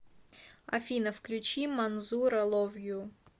афина включи манзура лов ю